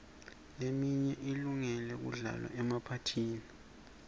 leminye ilunge kudlalwa emaphathini